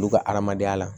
Olu ka adamadenya la